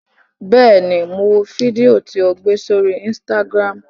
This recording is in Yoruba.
Bẹ́ẹ̀ ni, mo wo fídíò tí o gbé sórí Instagram.